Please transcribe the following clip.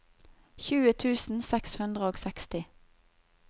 tjue tusen seks hundre og seksti